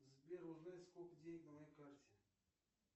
сбер узнать сколько денег на моей карте